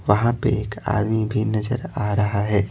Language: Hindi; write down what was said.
वहां पे एक आदमी भी नजर आ रहा है।